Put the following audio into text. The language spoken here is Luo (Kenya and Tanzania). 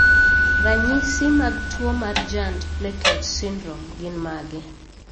Ranyisi mag tuwo mar Giant platelet syndrome gin mage?